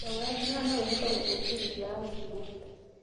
Ndogo ya thgara no ĩhote gũcũngĩrĩria acima